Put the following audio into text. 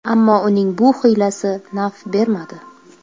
Ammo uning bu hiylasi naf bermadi.